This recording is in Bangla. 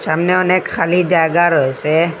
সামনে অনেক খালি জায়গা রয়েসে।